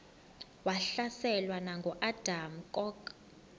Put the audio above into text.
wahlaselwa nanguadam kok